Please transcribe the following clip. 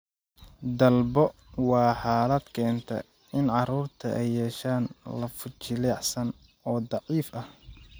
dalbo waa xaalad keenta in carruurta ay yeeshaan lafo jilicsan oo daciif ah.